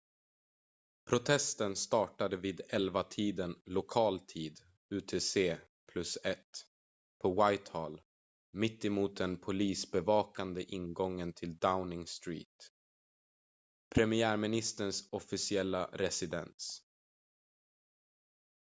protesten startade vid 11-tiden lokal tid utc+1 på whitehall mitt emot den polisbevakade ingången till downing street premiärministerns officiella residens